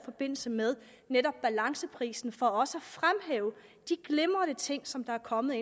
forbindelse med netop balanceprisen for også at fremhæve de glimrende ting som der er kommet